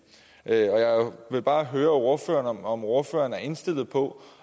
jeg vil bare høre ordføreren om ordføreren er indstillet på